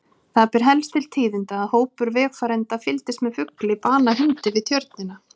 Það ber helst til tíðinda að hópur vegfarenda fylgdist með fugli bana hundi við Tjörnina.